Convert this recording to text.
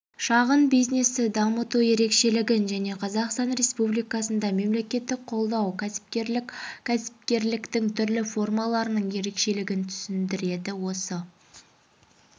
шағын бизнесті дамыту ерекшілігін және қазақстан республикасында мемлекеттік қолдау кәсіпкерлік кәсіпкерліктің түрлі формаларының ерекшілігін түсіндіреді осы